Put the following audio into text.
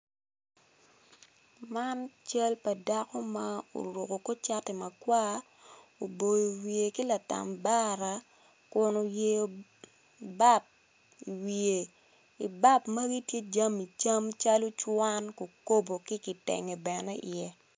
Man cal pa dako ma oruko kor cati makwar oboyo wiye ki latambara kun oyeyo bap i wiye i bap magi tye jami cam calo cwan kikopo ki kitenge bene iye.